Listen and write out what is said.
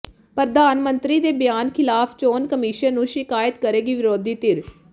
ਪ੍ਰਧਾਨ ਮੰਤਰੀ ਦੇ ਬਿਆਨ ਖ਼ਿਲਾਫ਼ ਚੋਣ ਕਮਿਸ਼ਨ ਨੂੰ ਸ਼ਿਕਾਇਤ ਕਰੇਗੀ ਵਿਰੋਧੀ ਧਿਰ